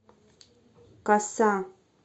коса